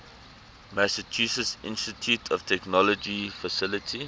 massachusetts institute of technology faculty